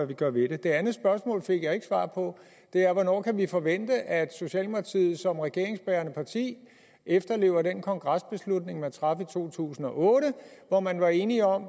vi gør ved det det andet spørgsmål fik jeg ikke svar på det er hvornår kan vi forvente at socialdemokratiet som regeringsbærende parti efterlever den kongresbeslutning man traf i to tusind og otte hvor man var enige om